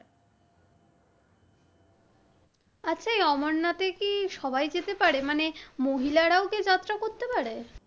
আচ্ছা এই অমরনাথের কি সবাই যেতে পারে? মানে মহিলারাও কি যাত্রা করতে পারে?